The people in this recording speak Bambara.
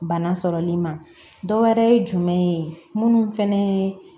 Bana sɔrɔli ma dɔwɛrɛ ye jumɛn ye minnu fɛnɛ ye